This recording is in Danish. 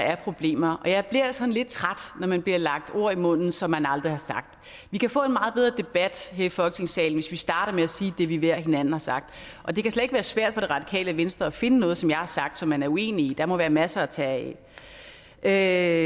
er problemer og jeg bliver sådan lidt træt når man bliver lagt ord i munden som man aldrig har sagt vi kan få en meget bedre debat her i folketingssalen hvis vi starter med at sige det vi ved hinanden har sagt og det kan slet ikke være svært for det radikale venstre at finde noget som jeg har sagt som man er uenig i der må være masser at tage af